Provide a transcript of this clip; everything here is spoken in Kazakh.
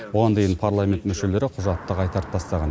бұған дейін парламент мүшелері құжатты қайтарып тастаған